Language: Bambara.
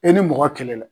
E ni mɔgɔ kɛlɛla